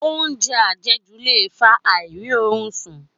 Óúnjẹ àjẹjù le fa àìrí orun sùn